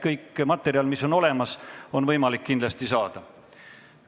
Kogu materjal, mis on olemas, on kindlasti võimalik kätte saada.